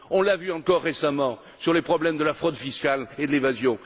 On l'a vu encore récemment sur les problèmes de la fraude fiscale et de l'évasion.